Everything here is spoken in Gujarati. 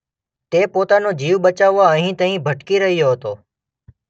તે પોતાનો જીવ બચાવવા અહીં તહીં ભટકી રહ્યો હતો.